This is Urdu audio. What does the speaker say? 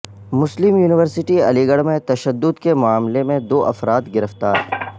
مسلم یونیورسٹی علیگڑھ میں تشدد کے معاملے میں دو افراد گرفتار